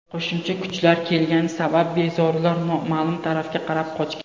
Qo‘shimcha kuchlar kelgani sabab bezorilar noma’lum tarafga qarab qochgan.